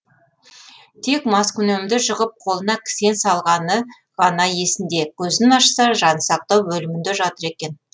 тек маскүнемді жығып қолына кісен салғаны ғана есінде көзін ашса жансақтау бөлімінде жатыр екен